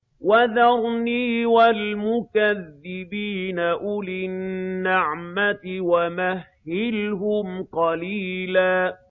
وَذَرْنِي وَالْمُكَذِّبِينَ أُولِي النَّعْمَةِ وَمَهِّلْهُمْ قَلِيلًا